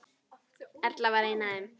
Erla var ein af þeim.